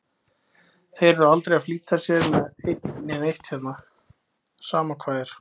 Þeir eru aldrei að flýta sér með eitt né neitt hérna, sama hvað er.